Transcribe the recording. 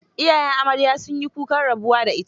Iyayen amarya sun yi kukan rabuwa da ita.